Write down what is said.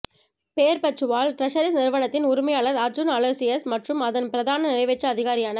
Perpetual Treasuries நிறுவனத்தின் உரிமையாளர் அர்ஜுன் அலோசியஸ் மற்றும் அதன் பிரதான நிறைவேற்று அதிகாரியான